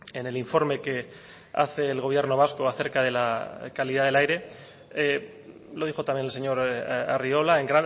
en el informe que hace el gobierno vasco a cerca de la calidad del aire lo dijo también el señor arriola en